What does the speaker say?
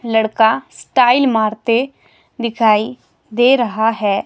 लड़का स्टाइल मारते दिखाई दे रहा है।